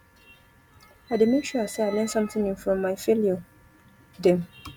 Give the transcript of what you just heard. i dey make sure sey i learn sometin new from my failure dem